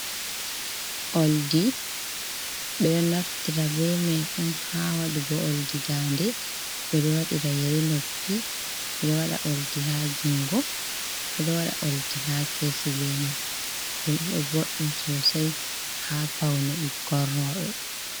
Oldi, ɓe ɗo naftira be mai on ha waɗugo oldi dannde, ɓe ɗo wadira yeri noppi, ɓe ɗo wada oldi ha jungo, ɓe ɗo waɗa oldi ha keesi be mai. Ɗum ɗo boddum sosai ha paune ɓikkon rooɓe.